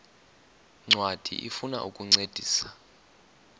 ncwadi ifuna ukukuncedisa